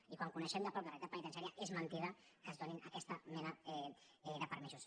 i quan coneixem de prop la realitat penitenciària és mentida que es donin aquesta mena de permisos